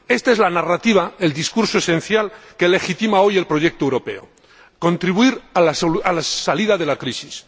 Esta es la narrativa, el discurso esencial que legitima hoy el proyecto europeo contribuir a la salida de la crisis.